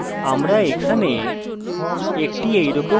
আমরা এখানে একটি এরকম উদাহরণ দেখতে পারি